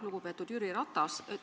Lugupeetud Jüri Ratas!